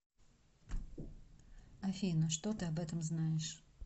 афина что ты об этом знаешь